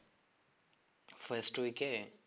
first week A?